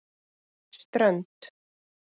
Strönd